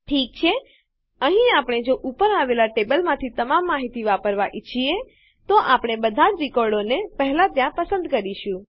ઠીક છે અહીં જો આપણે ઉપર આવેલ ટેબલમાંથી તમામ માહિતી વાપરવાં ઈચ્છીએ તો આપણે બધા જ રેકોર્ડોને પહેલા ત્યાં પસંદ કરીશું